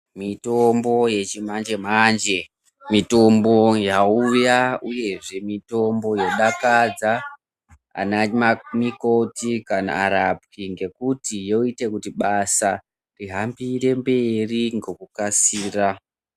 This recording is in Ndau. Mitombo yechi manje manje mitombo yauya uyezve mitombo yodakadza anamukoti kana arapwi ngekuti yoite kuti basa rihambire mberi ngokukasira.